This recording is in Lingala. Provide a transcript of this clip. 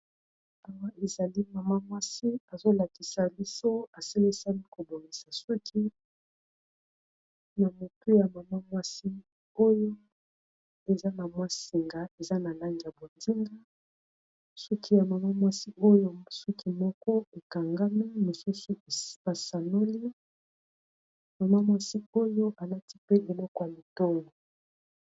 Awa ezali mama mwasi azolakisa liso asilisami kobongisa soki na motu ya mama mwasi oyo eza na mwasinga eza na langi ya bondinga, soki ya mama mwasi oyo suki moko ekangami mosusu espasanoli mama mwasi oyo alati pe eloko ya motongo.